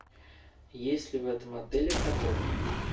есть ли в этом отеле каток